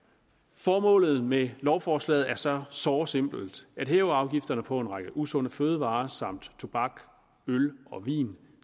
formålet med lovforslaget er så såre simpelt at hæve afgifterne på en række usunde fødevarer samt tobak øl og vin